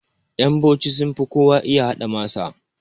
Ƴan bauchi sunfi kowa iya haɗa masa